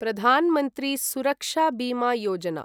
Pradhan Mantri Suraksha Bima Yojana